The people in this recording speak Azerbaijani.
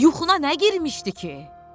Yuxuna nə girmişdi ki?